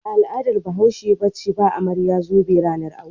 Ba al'adar Bahashe ba ce ba amarya zobe ranar aure.